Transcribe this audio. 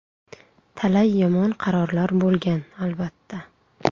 Talay yomon qarorlar bo‘lgan, albatta.